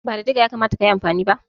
Ba da diga ya kamata ka yi amfani ba?